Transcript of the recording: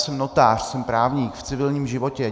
Jsem notář, jsem právník v civilním životě.